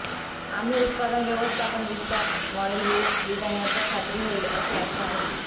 आम्ही उत्पादन व्यवस्थापन विस्तार मॉडेल विविध डिझायनरचा खात्री होईल अशी आशा आहे